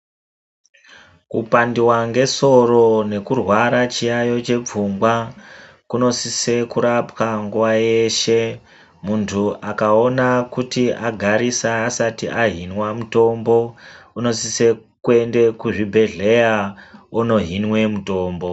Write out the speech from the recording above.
Kupandiwa ngesoro nekurwara chiyaiyo chepfungwa kunosise kurapwa nguva yeshe. Muntu akaona kuti agarisa asati ahinwa mutombo unosise kuende kuzvibhedhleya ono hinwe mutombo.